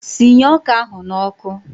Sinye ọka ahụ n'ọkụ!